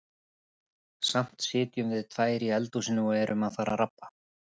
Samt sitjum við tvær í eldhúsinu og erum að fara að rabba.